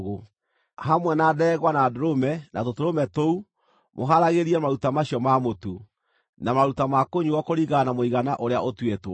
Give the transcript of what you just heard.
Hamwe na ndegwa, na ndũrũme, na tũtũrũme tũu, mũhaaragĩriei maruta macio ma mũtu, na maruta ma kũnyuuo kũringana na mũigana ũrĩa ũtuĩtwo.